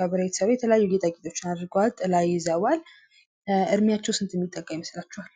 ከብር የተሰሩ ጌጣጌጦችን አድርገዋል። ጥላ ይዘዋል። እድሚያቸው ስንት የሚጠጋ ይመስላችኋል?